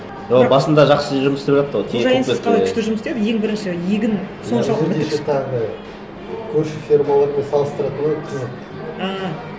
ол басында жақсы жұмыс істеп жатты ғой қожайынсыз қалай күшті жұмыс істеді ең бірінші егін соншалық көрші фермалармен салыстырады ғой қызық ааа